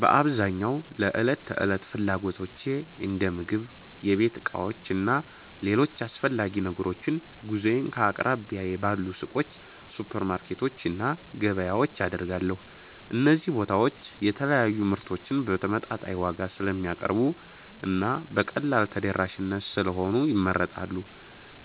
በአብዛኛው ለዕለት ተዕለት ፍላጎቶቼ እንደ ምግብ፣ የቤት ዕቃዎች እና ሌሎች አስፈላጊ ነገሮች ግዢዬን ከአቅራቢያዬ ባሉ ሱቆች፣ ሱፐርማርኬቶች እና ገበያዎች አደርጋለሁ። እነዚህ ቦታዎች የተለያዩ ምርቶችን በተመጣጣኝ ዋጋ ስለሚያቀርቡ እና በቀላሉ ተደራሽ ስለሆኑ ይመረጣሉ።